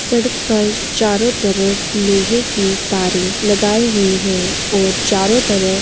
सड़क पर चारों तरफ लोहे की तारे लगाई हुई है और चारों तरफ --